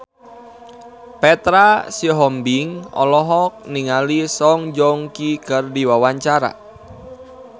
Petra Sihombing olohok ningali Song Joong Ki keur diwawancara